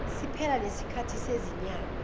siphela lesikhathi sezinyanga